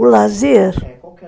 O lazer , é. Qual que era